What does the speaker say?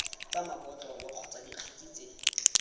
tsa mabotlolo kgotsa dikgetse tse